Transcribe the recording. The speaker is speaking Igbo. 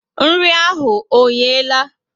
Nri ahụ ọ yehe la?